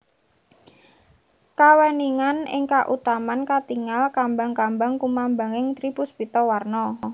Kaweningan ing kautaman katingal kambang kambang kumambanging tri puspita warna